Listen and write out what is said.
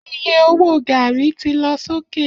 Iye owó gàrí ti lọ sókè.